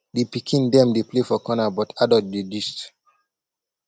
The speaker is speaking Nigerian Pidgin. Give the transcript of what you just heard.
di pikin dem dey play for corner but adult dey gist